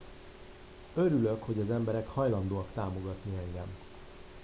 örülök hogy az emberek hajlandóak támogatni engem